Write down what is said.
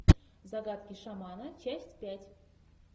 загадки шамана часть пять